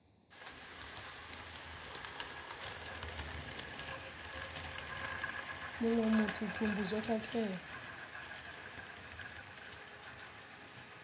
muṅwe muthu thumbu zwo khakhea